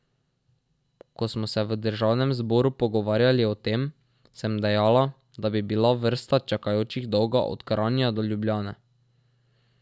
Ko smo se v državnem zboru pogovarjali o tem, sem dejala, da bi bila vrsta čakajočih dolga od Kranja do Ljubljane.